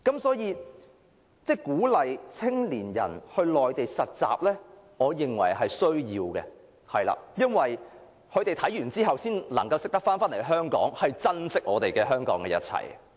所以，我認為鼓勵青年到內地實習，是有需要的，因為青年人在體驗回港後才會珍惜香港的一切。